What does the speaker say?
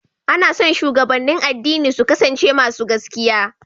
Ana son shugabannin addini su kasance masu gaskiya.